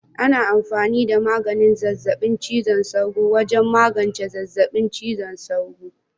Ana amfani da maganin zazzabin cizon sauro wajen magance zazzabin cizon sauro.